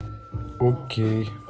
окей